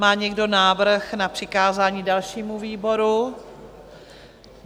Má někdo návrh na přikázání dalšímu výboru?